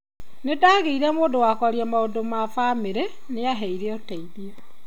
Nĩndagiire mũndũ wa kwaria maundu ma bamiri ,niambeire uteithio